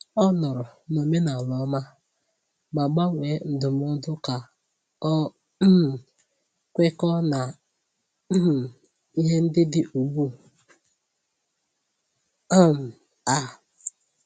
Ọ nọọrọ n’omenala ọma, ma gbanwee ndụmọdụ ka ọ um kwekọọ na um ihe ndị dị ugbu um a.